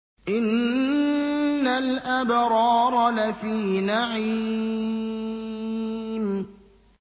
إِنَّ الْأَبْرَارَ لَفِي نَعِيمٍ